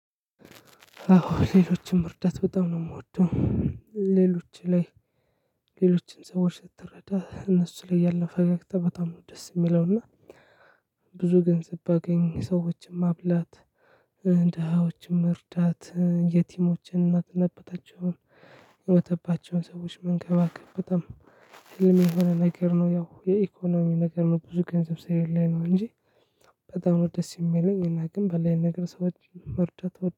አዎ ሌሎችን መርዳት በጣም ነው የምወደው። ሌሎች ላይ ሌሎችን ሰዎች ስትረዳ እነሱ ላይ ያለው ፈገግታ በጣም ደስ የሚለው እና። ብዙ ገንዘብ ባገኝ ሰዎችን ማብላት እ ደሃዎችን መርዳት እ የቲሞችን እናት እና አባት የሞተባቸው ሰዎች መንከባከብ በጣም ህልሜ የሆነ ነገር ነው። ያው የኢኮኖሚ ነገር ነው ብዙ ገንዘብ ስለሌለኝ ነው እንጂ። በጣም ነው ደስ የሚለኝ እና ግን ባለኝ ነገር ሰዎች መርዳት